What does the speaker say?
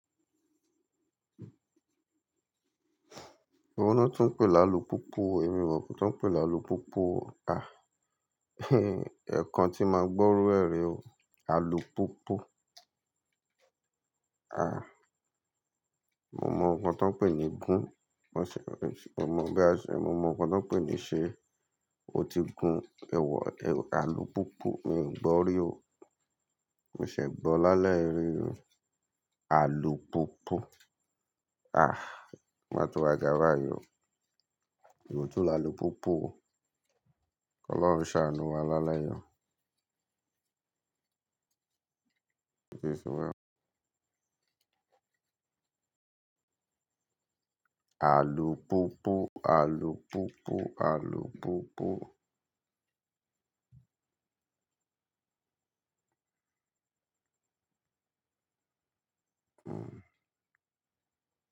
Ewo lo tuń pè ni alupúpù, èmi ò mọ nkan tí wọ́n ń pè ni alupúpù. A ẹ̀ kan tí máa gbọ́rọ ẹ́ re o alupúpù. A, mo mọ ohun tí wọ́n pè ní gun, mo ṣè, mo mọ bí a ṣe, mo mọ ohun tí wọ́n pè ní ṣe, o ti gun, ẹ wọ, alupúpù, mi ò gbọ́ rí o. Mi ò ṣe gbọ́ lálẹ́ rí alupúpù. A, o má to wá gà bayii ọ, ewo tun ni alupúpù o. Ọlọ́run ṣàánú wa lálẹ́ yii o. Alupupu, alupupu, alupupu.